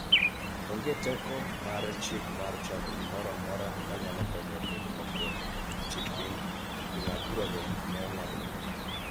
onge teko mar chik mar chako gimoro amora ma nyalo konyo e keto lokruok e chik piny, Jong'ad burago ne ong�ado bura.